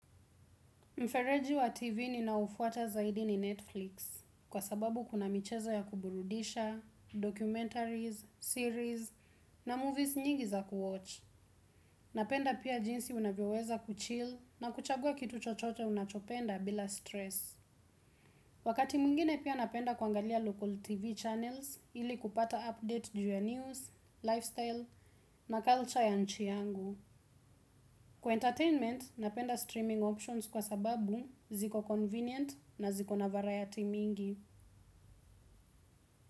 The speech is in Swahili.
Mfereji wa TV ninaoufuata zaidi ni Netflix, kwa sababu kuna michezo ya kuburudisha, documentaries, series na movies nyingi za kuwatch. Napenda pia jinsi unavyoweza kuchill na kuchagua kitu chochote unachopenda bila stress. Wakati mwingine pia napenda kuangalia local TV channels, ili kupata update juu ya news, lifestyle na culture ya nchi yangu. Kwa entertainment, napenda streaming options kwa sababu ziko convenient na ziko na variety mingi.